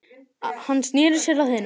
Hann sneri sér að hinum.